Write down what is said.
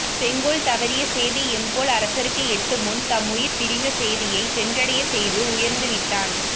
செங்கோல் தவறிய சேதி எம்போல் அரசர்க்கு எட்டும் முன் தம்முயிர்ப்பிரிந்த சேதியை சென்றடையச் செய்து உயர்ந்து விட்டான்